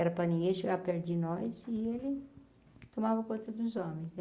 Era para ninguém chegar perto de nós e ele tomava conta dos homens né.